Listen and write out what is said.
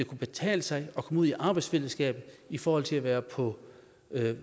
kunne betale sig at komme ud i arbejdsfællesskabet i forhold til at være på